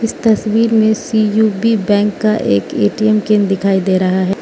इस तस्वीर में सी_यु_बी बैंक का एक ए_टी_एम केंद्र दिखाई दे रहा --